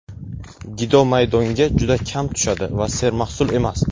Gido maydonga juda kam tushadi va sermahsul emas.